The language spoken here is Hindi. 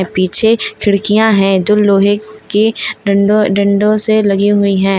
पीछे खिड़कियां है जो लोहे के डंडों डंडों से लगी हुई हैं।